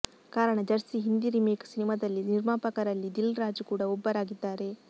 ಕಾರಣ Jersey Hindi remake ಸಿನಿಮಾದಲ್ಲಿ ನಿರ್ಮಾಪಕರಲ್ಲಿ ದಿಲ್ ರಾಜು ಕೂಡ ಒಬ್ಬರಾಗಿದ್ದಾರೆ